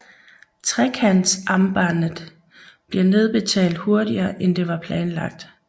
Trekantsambandet bliver nedbetalt hurtigere end det var planlagt